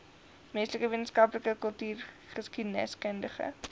menslike wetenskappe kultureelgeskiedkundige